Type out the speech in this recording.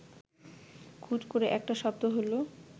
খুট করে একটা শব্দ হল